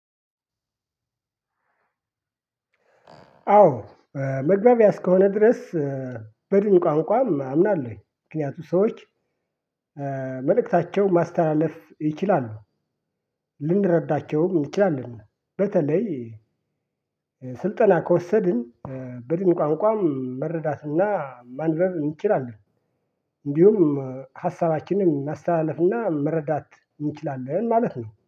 አዎ መግባቢያ እስከሆነ ድረስ በድን ቋንቋም አምናለሁ ምክንያቱም ሰዎች መልእክታቸው ማስተላለፍ ይችላሉ። ልንረዳቸውም እንችላለን በተለይ ስልጠና ከወሰድን በድን ቋንቋም መረዳትና ማንበብ እንችላለን። እንዲሁም ሀሳባችንን ማስተላለፍ እና መረዳት እንችላለን ማለት ነው